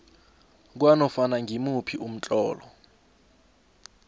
kwanofana ngimuphi umtlolo